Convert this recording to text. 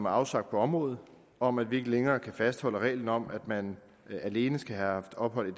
afsagt på området om at vi ikke længere kan fastholde reglen om at man alene skal have haft ophold i